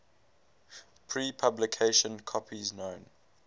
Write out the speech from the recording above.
pre publication copies known